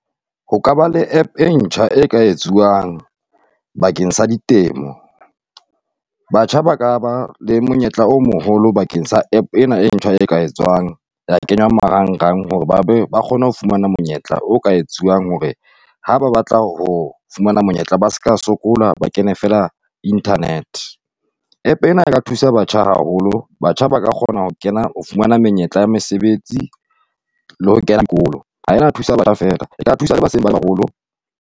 Ho ka ba le App e ntjha e ka etsuwang bakeng sa ditemo, batjha ba ka ba le monyetla o moholo bakeng sa App ena e ntjha e ka etswang ya kenngwa marangrang hore ba kgone ho fumana monyetla o ka etsuwang hore ha ba batla ho fumana monyetla ba seka sokola, ba kene fela internet. App ena eka thusa batjha haholo, batjha ba ka kgona ho kena ho fumana menyetla ya mesebetsi le ho kena dikolo. Ha e na thusa batjha fela e ka thusa .